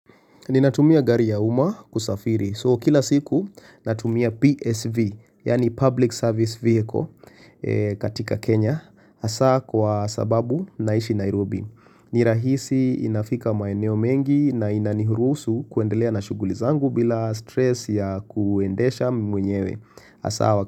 Ninatumia gari ya umma kusafiri. So kila siku natumia PSV yaani Public Service Vehicle katika Kenya. Hasaa kwa sababu naishi Nairobi. Nirahisi inafika maeneo mengi na inaniruhusu kuendelea na shughuli zangu bila stress ya kuendesha mwenyewe hasaa wakati.